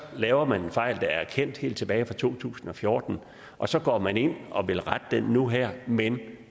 laver man en fejl der er kendt helt tilbage fra to tusind og fjorten og så går man ind og vil rette den nu her men